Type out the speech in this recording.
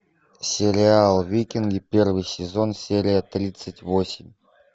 сериал викинги первый сезон серия тридцать восемь